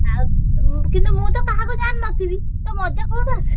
ଆଉ କିନ୍ତୁ ମୁଁ ତ କାହାକୁ ଜାଣିନଥିବି ତ ମଜା କୋଉଠୁ ଆସିବ?